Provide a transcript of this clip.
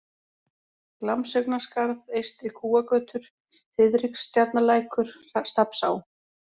Glamsaugnaskarð, Eystri-Kúagötur, Þiðrikstjarnarlækur, Stafnsá